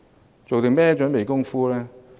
它做了甚麼準備工夫呢？